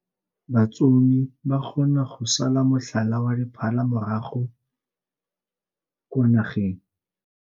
Batsomi ba kgona go sala motlhala wa diphala morago kwa nageng.